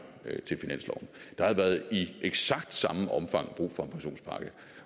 der havde i eksakt samme omfang været brug for en pensionspakke